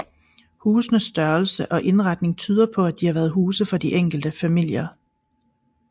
Husenes størrelse og indretning tyder på at de har været huse for de enkelte familier